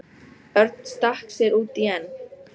Örn stakk sér út í en